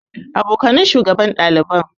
Abokanan shugaban ɗaliban.